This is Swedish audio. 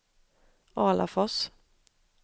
Alafors